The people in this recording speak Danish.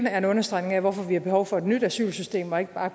er en understregning af hvorfor vi har behov for et nyt asylsystem og ikke bare